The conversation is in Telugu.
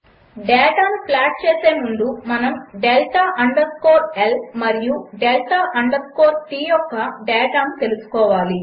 డేటాను ప్లాట్ చేసే ముందు మనము డెల్టా అండర్ స్కోర్ L మరియు డెల్టా అండర్ స్కోర్ T యొక్క డేటాను తెలుసుకోవాలి